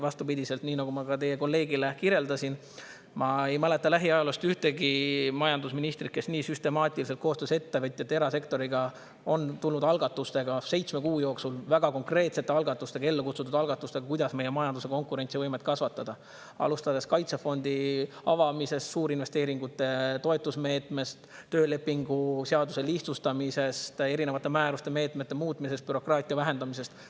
Vastupidi, nii nagu ma ka teie kolleegile kirjeldasin, ma ei mäleta lähiajaloost ühtegi majandusministrit, kes nii süstemaatiliselt koostöös ettevõtjate, erasektoriga on seitsme kuu jooksul tulnud välja algatustega, väga konkreetsete algatustega, ellu kutsutud algatustega, kuidas meie majanduse konkurentsivõimet kasvatada, alustades kaitsefondi avamisest, suurinvesteeringute toetusmeetmest, töölepingu seaduse lihtsustamisest, erinevate määruste-meetmete muutmisest, bürokraatia vähendamisest.